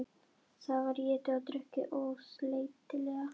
Það var étið og drukkið ósleitilega.